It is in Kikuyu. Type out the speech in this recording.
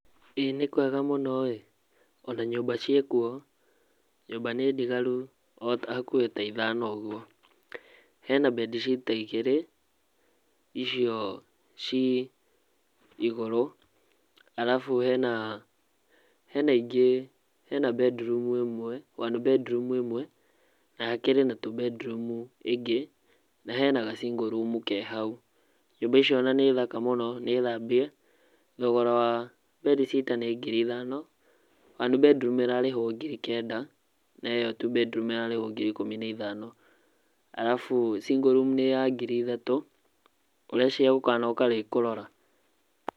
ĩ nĩ kwega mũno ĩ, o na nyũmba ciĩkuo, nyũmba nĩ ndigaru o hakũhĩ ta ithano ũguo, he na bedsitter igĩrĩ , icio ci igũrũ, arabu he na ingĩ he na bedroom ĩmwe [one bedroom ĩmwe na hakĩrĩ na tũ bedroom ĩngĩ na he na ga single room ke hau. Nyũmba icio o na nĩ thaka mũno nĩthambie, thogora wa bedsitter nĩ ngiri ithano, one bedroom ĩrarĩhwo ngiri kenda na ĩ yo two bedroom ĩrarĩhwo ngiri ikũmi na ithano, arabu single room nĩ ya ngiri ithatũ, ũreciria gũkanoka rĩ kũrora?